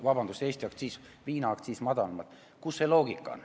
Kus see loogika on?